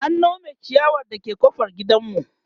an Nome chiyawar da ke ƙofar gidanmu